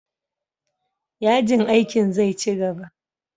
Yajin aikin zai ci gaba.